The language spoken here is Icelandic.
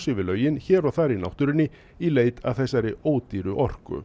hér og þar í náttúrunni í leit að þessari ódýru orku